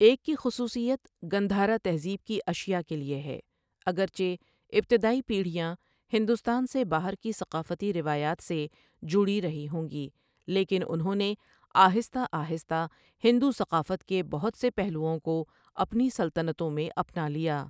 ایک کی خصوصیت گندھارا تہذیب کی اشیا کے لیے ہے اگرچہ ابتدائی پیڑھیاں ہندوستان سے باہر کی ثقافتی روایات سے جڑی رہی ہوں گی، لیکن انہوں نے آہستہ آہستہ ہندو ثقافت کے بہت سے پہلوؤں کو اپنی سلطنتوں میں اپنا لیا۔